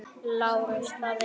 LÁRUS: Það eru.